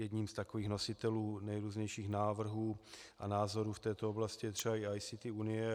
Jedním z takových nositelů nejrůznějších návrhů a názorů v této oblasti je třeba i ICT Unie.